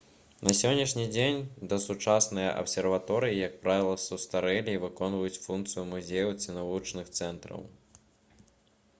на сённяшні дзень дасучасныя абсерваторыі як правіла састарэлі і выконваюць функцыю музеяў ці навучальных цэнтраў